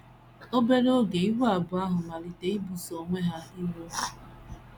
Obere oge, ìgwè abụọ ahụ malitere ibuso onwe ha iro.